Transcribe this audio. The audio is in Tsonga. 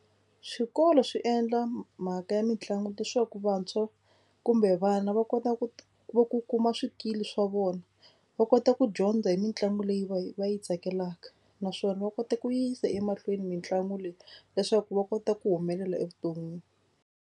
Swikolo swi endla mhaka ya mitlangu leswaku vantshwa kumbe vana va kota ku va ku kuma swikili swa vona. Va kota ku dyondza hi mitlangu leyi va yi va yi tsakelaka naswona va kota ku yisa emahlweni mitlangu leyi leswaku va kota ku humelela evuton'wini.